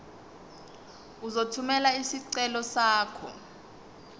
uzothumela isicelo sakho